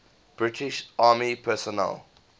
british army personnel